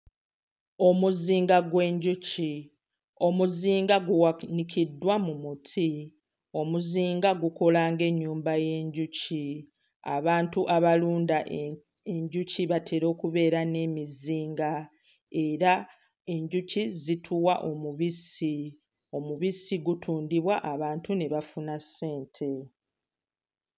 Omuzinga gw'enjuki, omuzinga guwanikiddwa mu muti, omuzinga gukola ng'ennyumba y'enjuki, abantu abalunda enjuki batera okubeera n'emizinga, era enjuki zituwa omubisi; omubisi gutundibwa abantu ne bafuna ssente.